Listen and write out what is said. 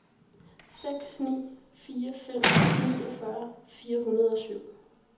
seks ni fire fem niogfyrre fire hundrede og syv